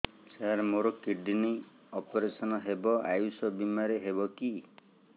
ସାର ମୋର କିଡ଼ନୀ ଅପେରସନ ହେବ ଆୟୁଷ ବିମାରେ ହେବ କି